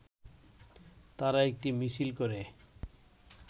তারা একটি মিছিল করে